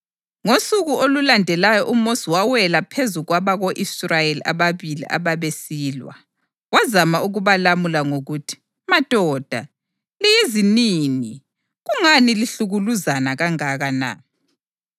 Ngosuku olulandelayo uMosi wawela phezu kwabako-Israyeli ababili ababesilwa. Wazama ukubalamula ngokuthi, ‘Madoda, liyizinini; kungani lihlukuluzana kangaka na?’